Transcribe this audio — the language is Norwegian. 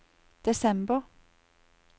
desember